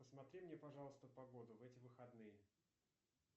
посмотри мне пожалуйста погоду в эти выходные